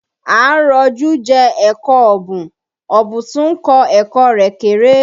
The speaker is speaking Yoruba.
À ń rọ́jú jẹ ẹ̀kọ ọ̀bùn, ọ̀bùn tún ń kọ ẹ̀kọ́ rẹ̀ kéré